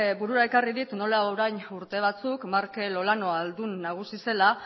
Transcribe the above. burura ekarri dit nola orain urte batzuk markel olano aldun nagusi zela